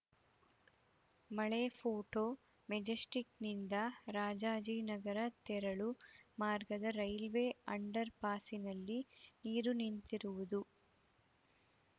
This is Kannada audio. ಮಳೆ ಫೋಟೋ ಮೆಜೆಸ್ಟಿಕ್‌ನಿಂದ ರಾಜಾಜಿನಗರ ತೆರಳು ಮಾರ್ಗದ ರೈಲ್ವೆ ಅಂಡರ್‌ ಪಾಸಿನಲ್ಲಿ ನೀರು ನಿಂತಿರುವುದು